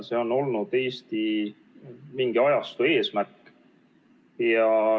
See on olnud Eestis mingi ajastu eesmärk.